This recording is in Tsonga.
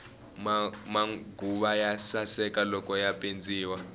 maguva ya saseka loko ya pendziwile